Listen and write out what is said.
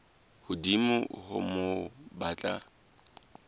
hodimo ho moo ba tla